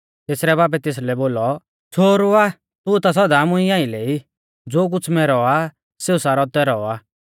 तेसरै बाबै तेसलै बोलौ छ़ोहरु आ तू ता सौदा मुंई आइलै ई ज़ो कुछ़ मैरौ आ सेऊ सारौ तैरौ आ